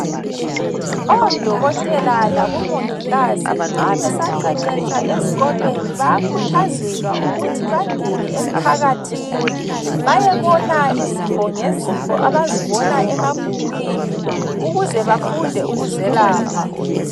Odokotela labomongikazi nxa besaqeqetsha ezikolweni bayakhuthazelwa ukuthi bangene emphakathini bayebona izifo ngezifo abazibona emabhukwini ukuze bafunde ukuzelapha.